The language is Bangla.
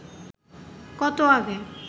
কত আগে